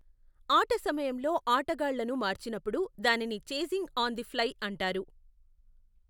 ఆట సమయంలో ఆటగాళ్ళను మార్చినప్పుడు, దానిని చేంజింగ్ ఆన్ ది ఫ్లై అంటారు.